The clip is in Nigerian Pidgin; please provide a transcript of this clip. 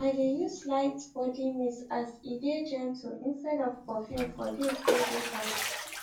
im dae use light body mist as e dae gentle instead of perfume for days wae dae hot